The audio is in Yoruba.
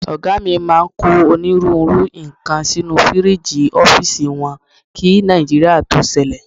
Ọ̀gá mi máa ń kó onírúurú nǹkan sínú fíríìgì ọ́fíìsì wọn kí Nàìjíríà tó ṣẹlẹ̀.